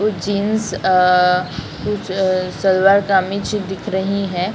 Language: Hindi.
कुछ जीन्स अ कुछ सलवार कमीज दिख रही है।